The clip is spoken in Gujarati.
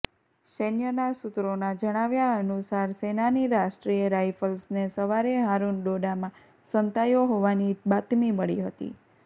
સૈન્યના સૂત્રોના જણાવ્યા અનુસાર સેનાની રાષ્ટ્રીય રાયફલ્સને સવારે હારૂન ડોડામાં સંતાયો હોવાની બાતમી મળી હતી